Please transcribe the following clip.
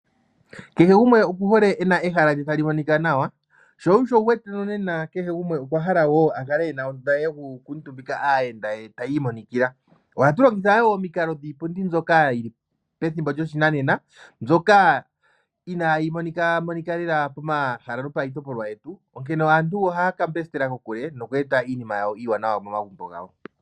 Kehe gumwe okuhole e na ehala lye tali monika nawa, sho osho wu wete nonena kehe gumwe okwa hala a kale e na ondunda ye yokukuutumbika aayenda ye tayi imonikila. Ohatu longitha wo omikalo dhiipundi mbyoka yi li pethimbo lyoshinanena mbyoka inayi monika lela pomahala nopayitopolwa yetu, onkene aantu ohaya ka mbesitela kokule noku eta iinima iiwanawa momagumbo gawo.